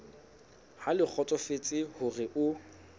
ha le kgotsofetse hore o